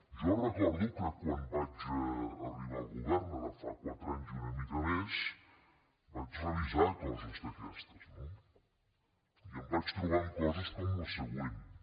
jo recordo que quan vaig arribar al govern ara fa quatre anys i una mica més vaig revisar coses d’aquestes no i em vaig trobar amb coses com les següents